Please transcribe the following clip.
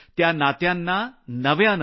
त्या नात्यांना नव्यानं ताजं करण्याची आहे